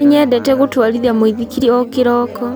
Nĩnyendete gũtwarithia muithikiri o kĩroko